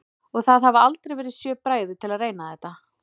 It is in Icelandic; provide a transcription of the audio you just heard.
Og það hafa aldrei verið sjö bræður til að reyna þetta?